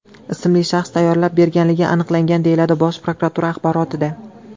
ismli shaxs tayyorlab berganligi aniqlangan”, deyiladi Bosh prokuratura axborotida.